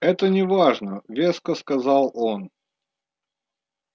это не важно веско сказал он